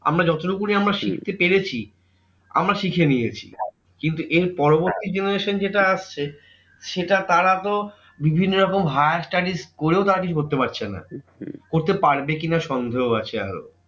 আমরা যতটুকুনি আমরা শিখতে পেরেছি, আমরা শিখে নিয়েছি। কিন্তু এর পরবর্তী generation যেটা আসছে, সেটা তারা তো বিভিন্ন রকম higher studies করেও তারা কিছু করতে পারছে না। করতে পারবে কি না সন্দেহ আছে আরও।